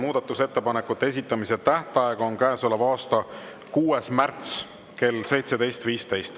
Muudatusettepanekute esitamise tähtaeg on käesoleva aasta 6. märts kell 17.15.